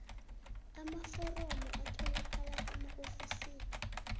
amaforomo atholakala emaofisini